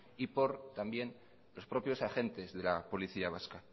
y también por los propios agentes de la policía vasca